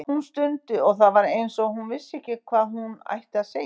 Hún stundi og það var eins og hún vissi ekki hvað hún ætti að segja.